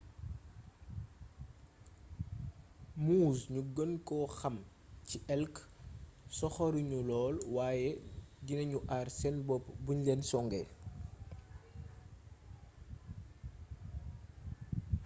moose gnu geenko xam ci elk soxorugnu lool wayé dinagnu aar sén bopp bugnulén songé